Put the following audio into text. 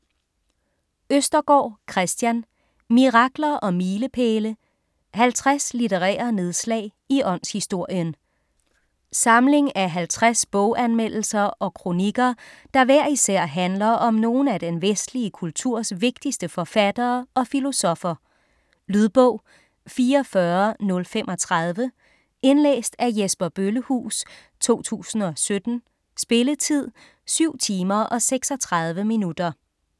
Østergaard, Kristian: Mirakler og milepæle: 50 litterære nedslag i åndshistorien Samling af 50 boganmeldelser og kronikker, der hver især handler om nogle af den vestlige kulturs vigtigste forfattere og filosoffer. Lydbog 44035 Indlæst af Jesper Bøllehuus, 2017. Spilletid: 7 timer, 36 minutter.